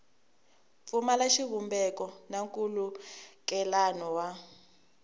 pfumala xivumbeko na nkhulukelano wa